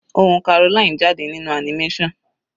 Ohùn Caroline jáde nínú animation.